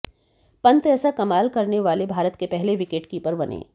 पंत ऐसा कमाल करने वाले भारत के पहले विकेटकीपर बने